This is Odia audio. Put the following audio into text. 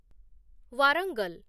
ୱାରଙ୍ଗଲ